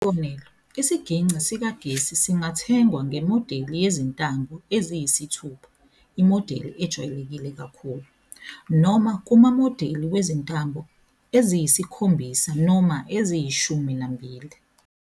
Isibonelo, isigingci sikagesi singathengwa ngemodeli yezintambo eziyisithupha, imodeli ejwayelekile kakhulu, noma kumamodeli wezintambo eziyisikhombisa noma eziyishumi nambili.